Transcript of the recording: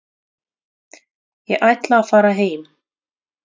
Ég ætla að fara heim.